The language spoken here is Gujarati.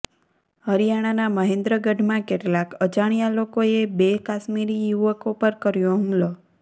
હરિયાણાના મહેન્દ્રગઢમાં કેટલાક અજાણ્યા લોકોએ બે કાશ્મીરી યુવકો પર કર્યો હુમલો